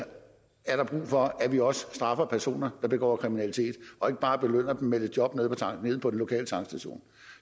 er brug for at vi også straffer personer der begår kriminalitet og ikke bare belønner dem med et job nede på den lokale tankstation